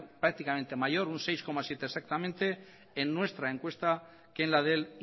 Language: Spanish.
prácticamente un seis coma siete por ciento exactamente en nuestra encuesta que en la del